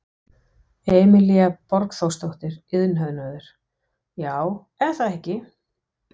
Emilía Borgþórsdóttir, iðnhönnuður: Já, er það ekki?